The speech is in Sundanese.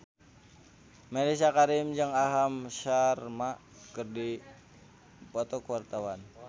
Mellisa Karim jeung Aham Sharma keur dipoto ku wartawan